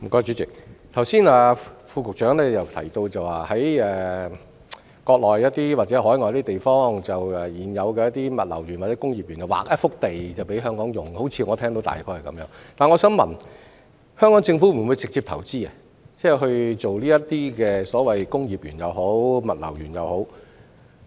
主席，我剛才好像聽到會在國內或海外的現有物流園或工業園區，劃出一幅土地供香港企業使用，但我想問香港政府會否直接投資興建這類工業園或物流園？